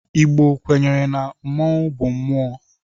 Igbo kwenyere na mmọnwu bu mmụọ.